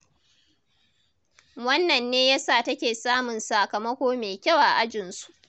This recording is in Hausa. Wannan ne ya sa take samun sakamako mai kyau a ajinsu.